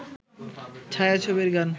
ছায়াছবির গান